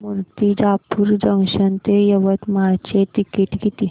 Murtijapur junction ते यवतमाळ चे ticket किती